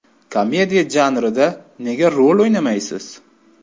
Komediya janrida nega rol o‘ynamaysiz?